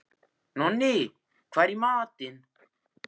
Nonni, hvað er í matinn?